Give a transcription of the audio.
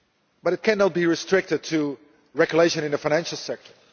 But it cannot be restricted to regulation in the financial sector.